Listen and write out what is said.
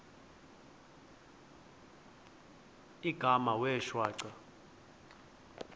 igama wee shwaca